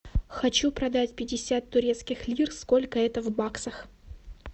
хочу продать пятьдесят турецких лир сколько это в баксах